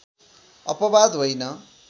अपवाद होइन